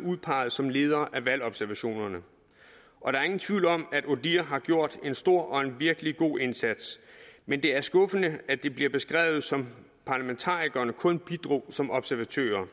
udpeget som ledere af valgobservationerne og der er ingen tvivl om at odihr har gjort en stor og en virkelig god indsats men det er skuffende at det bliver beskrevet som at parlamentarikerne kun bidrog som observatører